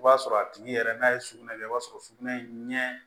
I b'a sɔrɔ a tigi yɛrɛ n'a ye sugunɛ kɛ i b'a sɔrɔ sugunɛ ɲɛ